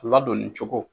Ladonni cogo